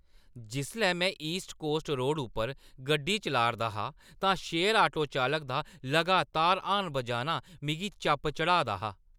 जिसलै में east coast road उप्पर गड्डी चलाऽ 'रदा हा तां शेयर आटो चालक दा लगातार हार्न बजाना मिगी चप चढ़ाऽ दा हा।